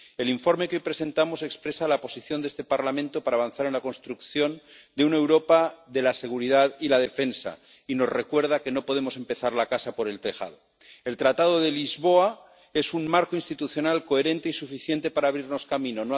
El informe que hoy presentamos expresa la posición de este Parlamento para avanzar en la construcción de una Europa de la seguridad y la defensa y nos recuerda que no podemos empezar la casa por el tejado. El Tratado de Lisboa es un marco institucional coherente y suficiente para abrirnos camino.